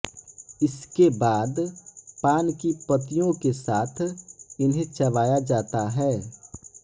इसके बाद पान की पत्तियों के साथ इन्हें चबाया जाता है